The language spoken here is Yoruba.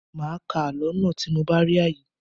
Màá ká àlọ́ náà tí mo bá rí àyè.